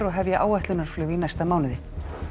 og hefja áætlunarflug í næsta mánuði